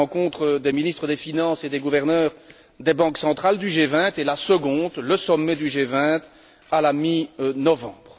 C'est la rencontre des ministres des finances et des gouverneurs des banques centrales du G20, et la seconde, le sommet du G20 à la mi novembre.